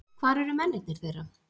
Hvar eru mennirnir þeirra?